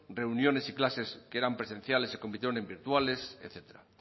reuniones y clases que eran presenciales se convirtieron en virtuales etcétera